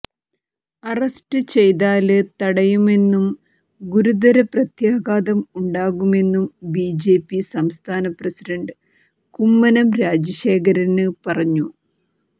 arrest ചെയ്താല് തടയുമെന്നും ഗുരുതര പ്രത്യാഘാതമുണ്ടാകുമെന്നും ബിജെപി സംസ്ഥാന പ്രസിഡന്റ് കുമ്മനം രാജശേഖരന് പറഞ്ഞു